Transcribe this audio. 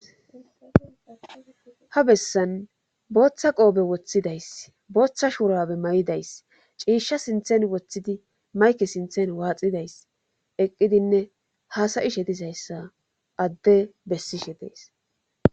ha bessan booththa qoobe woththidays booththa shuurabe may7idays ciisha sinthen woththidi mayke sinthen waaxidays eqqidinne haasayishe tishayssa adde bessishe tees